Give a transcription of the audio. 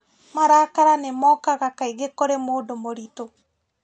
Marakara nĩ mookaga kaingĩ kũrĩ mũndũ mũritũ